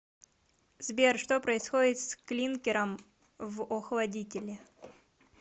сбер что происходит с клинкером в охладителе